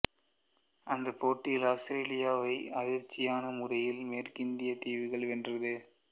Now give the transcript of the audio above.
அந்தப் போட்டியில் ஆஸ்திரேலியாவை அதிர்ச்சியான முறையில் மேற்கிந்திய தீவுகள் வென்றது